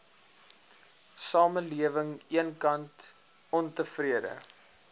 samelewing eenkant ontevrede